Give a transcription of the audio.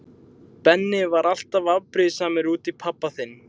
Benni var alltaf afbrýðisamur út í pabba þinn.